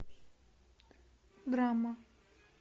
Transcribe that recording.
драма